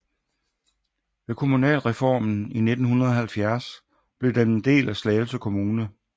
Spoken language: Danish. Ved kommunalreformen i 1970 blev den en del af Slagelse kommune